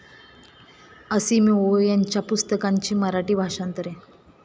Asimov यांच्या पुस्तकांची मराठी भाषांतरे